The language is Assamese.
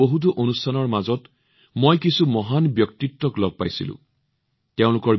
মোৰ বহুতো অনুষ্ঠানৰ মাজত মই কিছুমান মহান ব্যক্তিত্বক সাক্ষাৎ কৰাৰ সুযোগ পাইছিলো